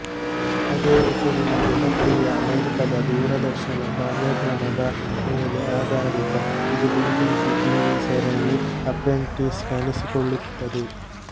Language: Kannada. ಅದೇ ಹೆಸರಿನ ಜನಪ್ರಿಯ ಅಮೇರಿಕಾದ ದೂರದರ್ಶನ ಕಾರ್ಯಕ್ರಮದ ಮೇಲೆ ಆಧಾರಿತ ಇದು ಬಿಬಿಸಿ ಟೀವಿ ಸರಣಿ ಅಪ್ರೆಂಟಿಸ್ ಕಾಣಿಸಿಕೊಳ್ಳುತ್ತದೆ